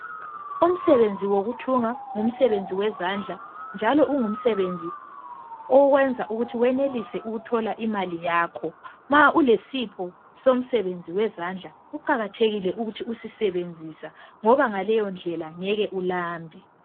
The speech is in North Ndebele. Umsebenzi wokuthunga ungumsebenzi wezandla njalo ungumsebenzi owenza ukuthi wenelise ukuthola umali yakho ma ulesipho somsebenzi wezandla kuqakathekile ukuthi usisebenzise ngoba ngaleyo ndlela ngeke ulambe